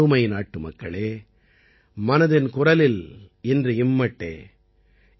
எனதருமை நாட்டுமக்களே மனதின் குரலில் இன்று இம்மட்டே